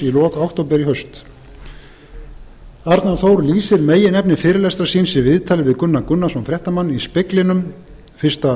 í lok október í haust arnar þór lýsir meginefni fyrirlestrar síns í viðtali við gunnar gunnarsson fréttamann í speglinum fyrsta